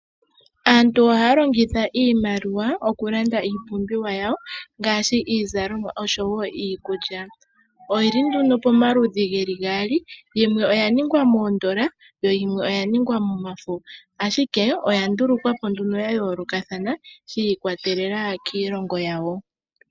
Aantu ohaya longitha iimaliwa okulanda iipumbiwa yawo ngaashi iizalomwa oshowo iikulya. Oyili nduno pomaludhi geli gaali yimwe oya ningwa miitenda yo yimwe oya ningwa momafo. Ashike oya ndulukwa po nduno ya yoolokathana shi ikwatelela kiilongo yawo.